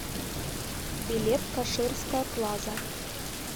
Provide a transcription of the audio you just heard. билет каширская плаза